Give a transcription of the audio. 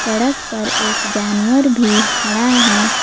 सड़क पर एक जानवर भी खड़ा है।